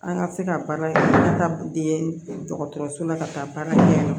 An ka se ka baara kɛ an ka taa den dɔgɔtɔrɔso la ka taa baara kɛ